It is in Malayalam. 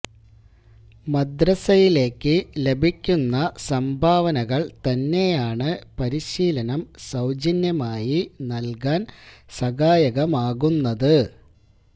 മദ്രസയിലേക്ക് ലഭിക്കുന്ന സംഭാവനകൾ തന്നെയാണ് പരിശീലനം സൌജന്യമായി നൽകാൻ സഹായകമാകുന്നത്